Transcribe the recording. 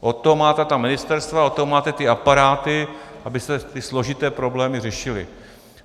Od toho máte ta ministerstva, od toho máte ty aparáty, abyste ty složité problémy řešili.